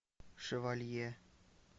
шевалье